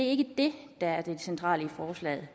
ikke det der er det centrale i forslaget